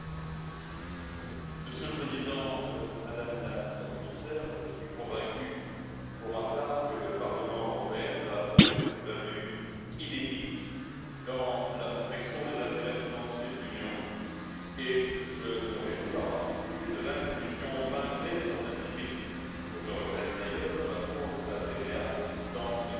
Monsieur le Président, Madame la Commissaire, je suis convaincu pour ma part que le Parlement européen va apporter une plus value inédite dans la protection des intérêts financiers de l'Union et je me réjouis, en particulier, de l'inclusion, malgré certaines limites, que je regrette d'ailleurs, de la fraude à la TVA dans les compétences du parquet.